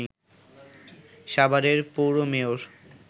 সাভারের পৌর মেয়র